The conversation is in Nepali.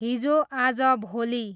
हिजो आज भोलि